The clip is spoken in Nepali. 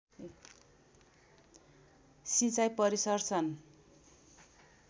सिँचाई परिसर सन्